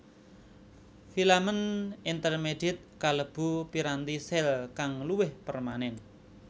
Filamen intermediet kalebu piranti sel kang luwih permanen